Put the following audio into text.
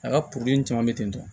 A ka caman bɛ ten tɔ